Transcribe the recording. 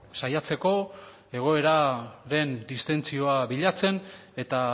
saiatzeko egoeraren distentsioa bilatzen eta